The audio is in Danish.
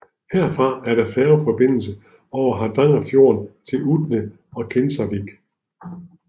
Herfra er der færgeforbindelse over Hardangerfjorden til Utne og Kinsarvik